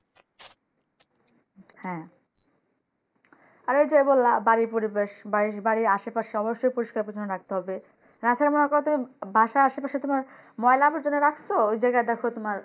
হ্যাঁ আর ঐ যে বললা বাড়ি পরিবেশ বাড়ির আশেপাশে অবশ্যই পরিস্কার পরিচ্ছন্ন রাখতে হবে রাখার আমার কথা বাসার আশে পাশে তোমার ময়লা আবর্জনা রাখছো। ঐ জাইগায় দেখো তোমার